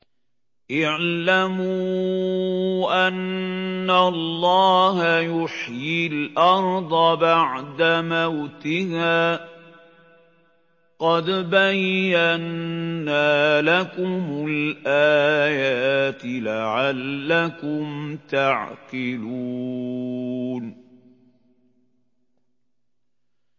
اعْلَمُوا أَنَّ اللَّهَ يُحْيِي الْأَرْضَ بَعْدَ مَوْتِهَا ۚ قَدْ بَيَّنَّا لَكُمُ الْآيَاتِ لَعَلَّكُمْ تَعْقِلُونَ